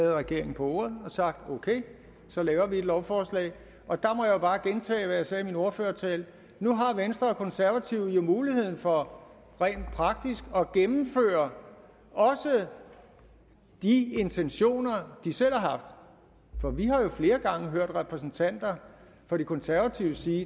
regeringen på ordet og sagt okay så laver vi et lovforslag og der må jeg jo bare gentage hvad jeg sagde i min ordførertale nu har venstre og konservative jo muligheden for rent praktisk at gennemføre også de intentioner de selv har haft for vi har jo flere gange hørt repræsentanter for de konservative sige